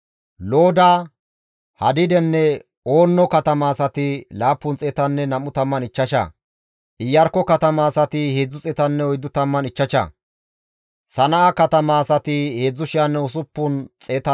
Xoossa Keeththaa naagiza Xalmoone, Axare, Shaloome, Aqube, Haxixenne Shobbaye zereththati 139,